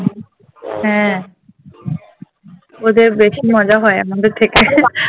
হ্যাঁ ওদের বেশি মজা হয় আমাদের থেকে